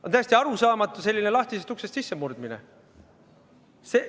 On täiesti arusaamatu selline lahtisest uksest sissemurdmine.